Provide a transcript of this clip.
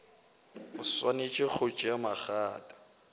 o swanetše go tšea magato